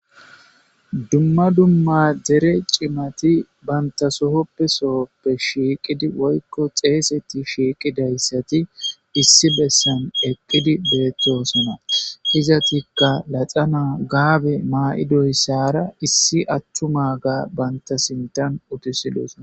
Dumma dumma dere cimati banta sohoppe sohoppe shiiqidi woykko xeeseti shiiqidayssati issi bessan eqqidi beettosona izatikka laxa naa gaabe maa7idoyssara issi attuma ga banta sintan utisidosna